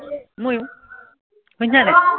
মইও শুনিছ নাই